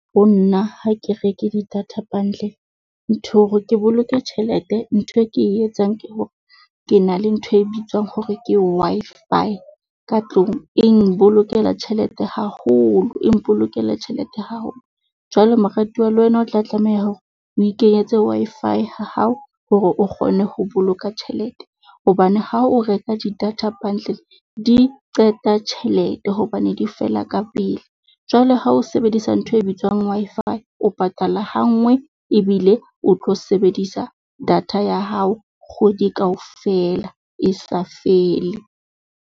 Ho nna ha ke reke di-data bundle ntho hore ke boloke tjhelete, ntho e ke e etsang ke hore ke na le ntho e bitswang hore ke Wi-Fi ka tlung, e nbolokela tjhelete haholo e mpolokele tjhelete haholo. Jwale moratuwa le wena, o tla tlameha hore o ikenyetse Wi-Fi ha hao hore o kgone ho boloka tjhelete. Hobane ha o reka di-data bundle di qeta tjhelete hobane di fela ya ka pele. Jwale ha o sebedisa ntho e bitswang Wi-Fi, o patala ha nngwe ebile o tlo sebedisa data ya hao kgwedi kaofela e sa fele.